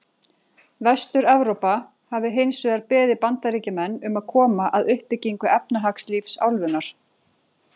Vestur-Evrópa hafi hins vegar beðið Bandaríkjamenn um að koma að uppbyggingu efnahagslífs álfunnar.